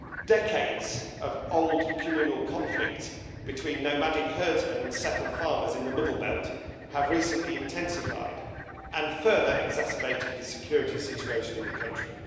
Decades of old communal conflict between nomadic herdsmen and settled farmers in the middle belt have recently intensified and further exacerbated the security situation in the country.